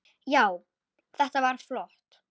Já, þetta var flott.